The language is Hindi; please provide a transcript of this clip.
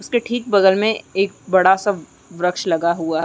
उसके ठीक बगल में एक बड़ा-सा वृक्ष लगा हुआ।